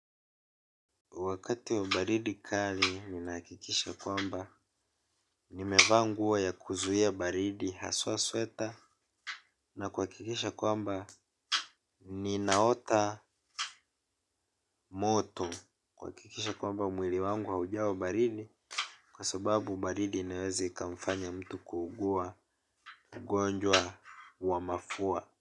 Wakati wa baridi kali ninahakikisha kwamba nimevaa nguo ya kuzuia baridi haswa sweater na kuhakikisha kwamba ninaota moto, kuhakikisha kwamba mwili wangu haujawa baridi kwa sababu baridi inaweza ikamfanya mtu kuugua ugonjwa wa mafua.